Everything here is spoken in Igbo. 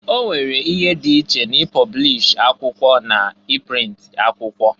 Onwere ihe dị iche na i pọblish akwụkwọ na i print akwụkwọ.